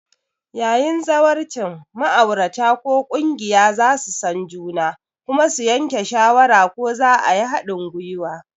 Yayin zawarcin, ma'aurata ko ƙungiya za su san juna kuma su yanke shawara ko za a yi haɗin gwiwa.